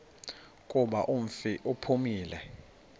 kuba umfi uphumile